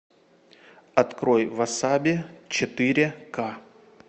открой васаби четыре ка